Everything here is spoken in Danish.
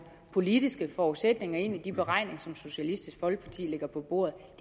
politiske forudsætninger ind i de beregninger som socialistisk folkeparti lægger på bordet